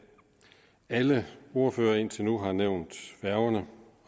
alle ordførere indtil nu har nævnt færgerne